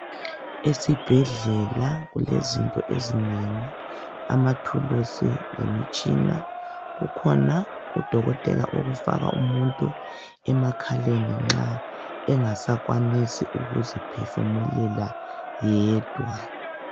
Esibhedlela kulezinto ezinengi amathuluzi lemitshina kukhona udokotela okufaka umuntu emakhaleni nxa engasakwanisi ukuziphefumulela yedwa.